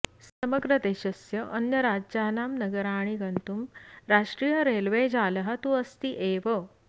समग्रदेशस्य अन्यराज्यानां नगराणि गन्तुं राष्ट्रीय रेल्वे जालः तु अस्ति एव